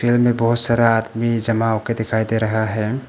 मे बहोत सारा आदमी जमा के दिखाई दे रहा है।